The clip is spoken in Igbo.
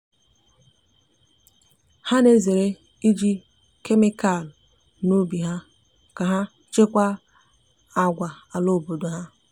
ha na ezere iji kemikalụ na ubi ha ka ha chekwaa àgwà ala obodo ha.